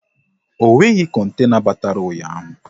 Ọ nweghị kontena batara ụnyaahụ